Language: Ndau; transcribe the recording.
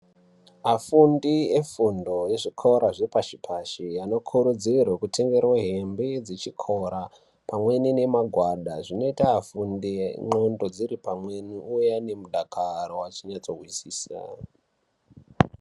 Afundi efundo ezvikora zvepashi pashi anokurudzirwa kutengerwa hembe dzechikora pamwe nemagwada zvinoita afunde ndxondo dziri pamweni ouya nemudakaro achinasa kuzvi